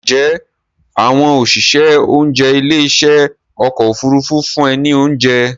Ǹjẹ́ àwọn òṣìṣẹ́ oúnjẹ ilé ìṣe ọkọ̀ Òfurufú fún ẹ ní oúnjẹ?